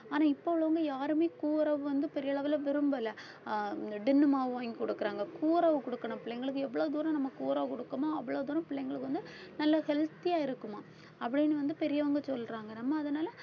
ஆனா இப்ப உள்ளவங்க யாருமே கூரவு வந்து பெரிய அளவுல விரும்பல அஹ் tin உ மாவு வாங்கி குடுக்குறாங்க கூரவு குடுக்கணும் பிள்ளைங்களுக்கு எவ்ளோ தூரம் நம்ம கூரவு குடுக்கணுமோ அவ்வளவு தூரம் பிள்ளைங்களுக்கு வந்து நல்ல healthy ஆ இருக்குமாம் அப்படின்னு வந்து பெரியவங்க சொல்றாங்க நம்ம அதனால